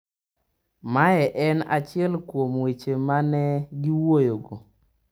Mae en achiel kuom weche ma ne giwuoyogo.